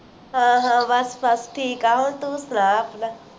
ਹਾਂ ਹਾਂ ਬੱਸ ਬੱਸ ਠੀਕ ਏ ਤੂੰ ਸੁਣਾ ਆਪਣਾਂ